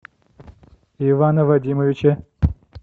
ивана вадимовича